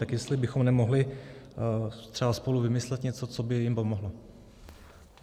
Tak jestli bychom nemohli třeba spolu vymyslet něco, co by jim pomohlo.